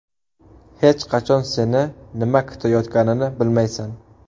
Hech qachon seni nima kutayotganini bilmaysan.